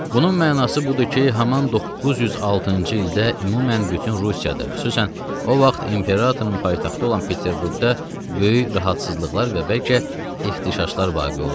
Bunun mənası budur ki, haman 906-cı ildə ümumən bütün Rusiyada, xüsusən o vaxt imperatorun paytaxtı olan Peterburqda böyük narahatsızlıqlar və bəlkə ixtişaşlar vaqe olurdu.